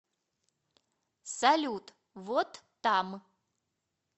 салют вот там